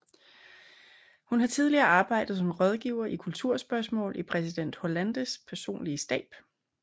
Hun har tidligere arbejdet som rådgiver i kulturspørgsmål i præsident Hollandes personlige stab